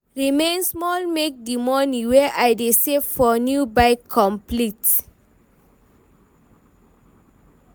remain small make the money wey I dey save for new bike complete.